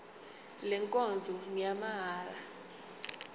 le nkonzo ngeyamahala